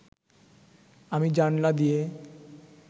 আমি জানলা দিয়ে